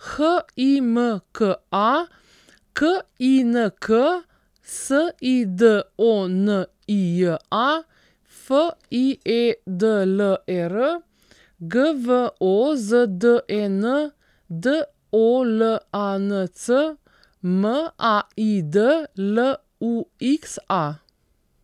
Himka Kink, Sidonija Fiedler, Gvozden Dolanc, Maid Luxa.